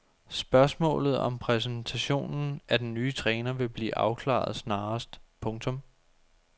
Spørgsmålet om præsentationen af den nye træner vil blive afklaret snarest. punktum